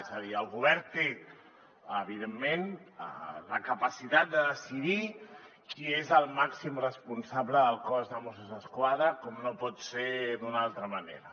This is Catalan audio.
és a dir el govern té evidentment la capacitat de decidir qui és el màxim responsable del cos de mossos d’esquadra com no pot ser d’una altra manera